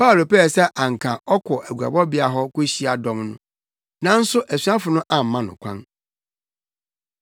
Paulo pɛɛ sɛ anka ɔkɔ aguabɔbea hɔ kohyia dɔm no, nanso asuafo no amma no kwan.